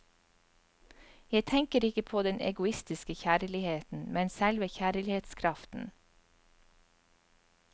Jeg tenker ikke på den egoistiske kjærligheten, men selve kjærlighetskraften.